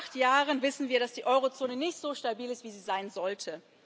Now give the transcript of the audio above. Seit acht Jahren wissen wir, dass die Eurozone nicht so stabil ist, wie sie sein sollte.